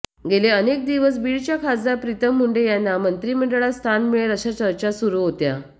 गेले अनेक दिवस बीडच्या खासदार प्रीतम मुंडे यांना मंत्रिमंडळात स्थान मिळेल अशा चर्चा सुरू होत्या